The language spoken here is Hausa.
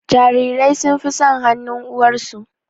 Jarirai sun fi son hanun uwarsu